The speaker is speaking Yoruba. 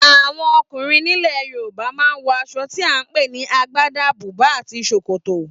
Àwọn ọkùnrin nílẹ̀ Yorùbá ma ń wọ aṣọ tí à ń pè ní Agbádá, bùbá tàbí Ṣòkòtò